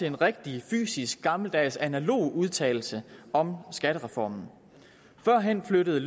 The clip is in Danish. en rigtig fysisk gammeldags analog udtalelse om skattereformen førhen flyttede